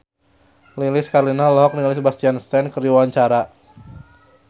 Lilis Karlina olohok ningali Sebastian Stan keur diwawancara